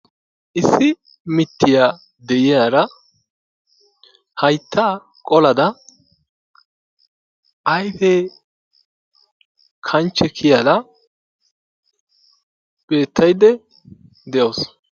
Issi mittiya de'iyaara hayttaa qolada ayfee kanchche kiyada beettaydda de'awusu.